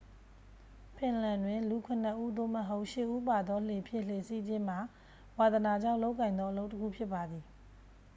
ဖင်လန်တွင် လူ ခုနစ်ဦး သို့မဟုတ် ရှစ်ဦးပါသောလှေဖြင့် လှေစီးခြင်းမှာ ဝါသနာကြောင့်လုပ်ကိုင်သောအလုပ်တစ်ခုဖြစ်ပါသည်